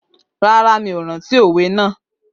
Rárá, mi ò rántí òwe náà